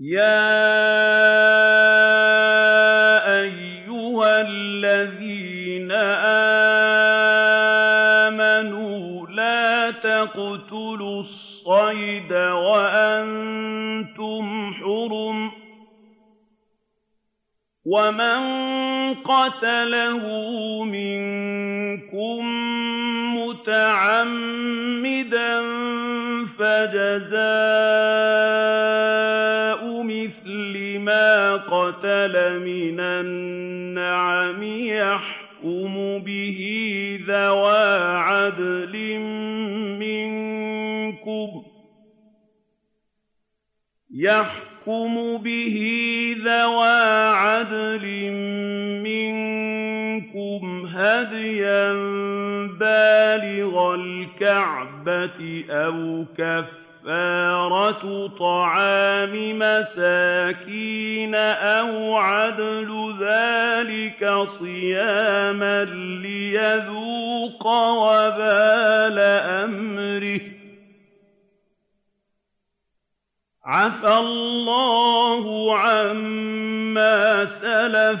يَا أَيُّهَا الَّذِينَ آمَنُوا لَا تَقْتُلُوا الصَّيْدَ وَأَنتُمْ حُرُمٌ ۚ وَمَن قَتَلَهُ مِنكُم مُّتَعَمِّدًا فَجَزَاءٌ مِّثْلُ مَا قَتَلَ مِنَ النَّعَمِ يَحْكُمُ بِهِ ذَوَا عَدْلٍ مِّنكُمْ هَدْيًا بَالِغَ الْكَعْبَةِ أَوْ كَفَّارَةٌ طَعَامُ مَسَاكِينَ أَوْ عَدْلُ ذَٰلِكَ صِيَامًا لِّيَذُوقَ وَبَالَ أَمْرِهِ ۗ عَفَا اللَّهُ عَمَّا سَلَفَ ۚ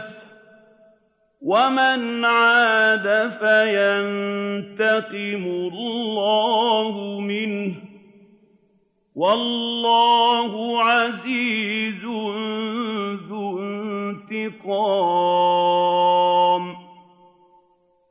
وَمَنْ عَادَ فَيَنتَقِمُ اللَّهُ مِنْهُ ۗ وَاللَّهُ عَزِيزٌ ذُو انتِقَامٍ